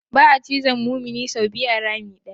Ba'a cizon mumini sau biyu a rami ɗaya.